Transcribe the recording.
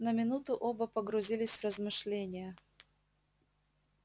на минуту оба погрузились в размышления